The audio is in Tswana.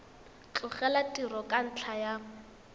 tlogela tiro ka ntlha ya